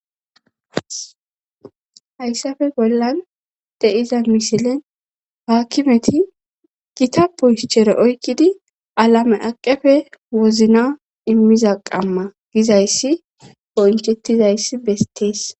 hayssafe bollan de7iza misilen haakkimeti gita puhschere oykkidi alame aqefe wozna immiza qamma gizayssi bonchettizayssi bestees